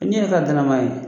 nin yɛrɛ t'a danamaa ye